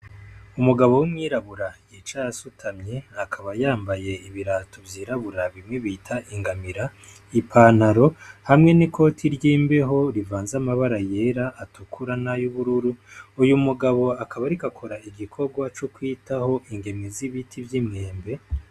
Umugabo w'umwirabura yicaye asutamye akaba yambaye ibirato vyirabura bimwe bita ingamira ipantaro hamwe n'ikoti ry'imbeho rivanze amabara yera, atukura n'uyubururu uyu mugabo akaba ariko akora igikorwa co kwitaho ingemwe z'ibiti vy'imyembe.